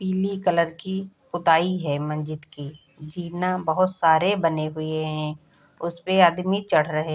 पीले कलर की पूताई है मस्जिद की। जीनाह बहुत सारे बने हुए है उसपे आदमी चढ़ रहे --